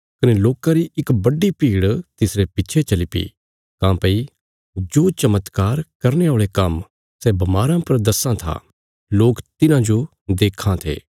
कने लोकां री इक बड्डी भीड़ तिसरे पिच्छे चलीपी काँह्भई जो चमत्कार करने औल़े काम्म सै बमाराँ पर दस्सां था लोक तिन्हाजो देक्खां थे